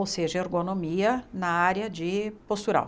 Ou seja, ergonomia na área de postural.